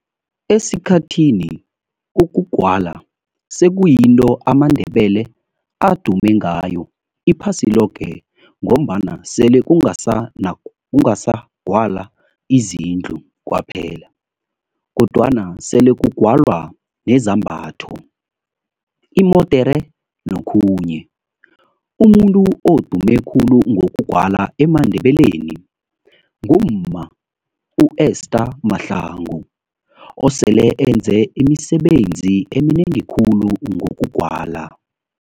Esikhathini ukugwala sekuyinto AmaNdebele adume ngayo iphasi loke ngombana sele kungasa gwala izindlu kwaphela kodwana sele kugwalwa nezambatho, imodere nokhunye. Umuntu odume khulu ngokugwala emaNdebeleni ngumma u-Esther Mahlangu osele enze imisebenzi eminengi khulu ngokugwala.